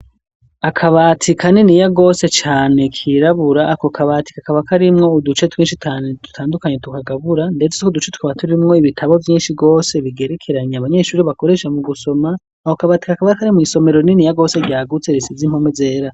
Akabati kaniniya gose cane kirabura ako kabatika kaba karimwo uduce twinshi cane tutandukanye tukagabura ndetse ko uduce tuba turimwo ibitabo mvyinshi bwose bigerekeranye abanyeshuri bakoresha mu gusoma ako kabati kakaba kari mw'isomero niniya gose ryagutse risize impome zera.